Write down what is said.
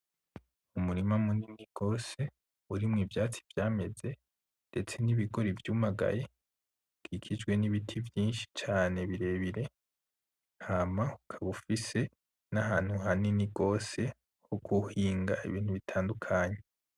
Umurima munini gose urimwo ivyatsi vyameze, ndetse n'Ibigori vyumagaye bikikijwe n'Ibiti vyinshi cane birebire, hama ukaba ufise ahantu hanini gose ho guhinga Ibintu bitandukanye.